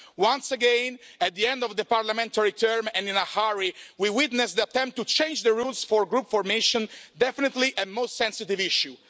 Once again, at the end of the parliamentary term and in a hurry, we witness an attempt to change the rules about group formation, definitely a most sensitive issue.